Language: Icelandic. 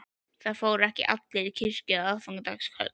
Það fóru ekki allir í kirkju á aðfangadagskvöld.